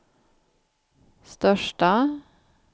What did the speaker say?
största